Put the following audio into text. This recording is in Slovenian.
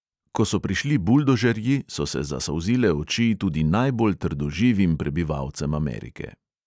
Ko so prišli buldožerji, so se zasolzile oči tudi najbolj trdoživim prebivalcem amerike.